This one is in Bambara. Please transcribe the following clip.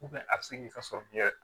a bɛ se k'i ka sɔrɔ kɛ